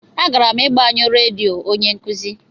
A gara'm agbe nyo redio onye nkuzi.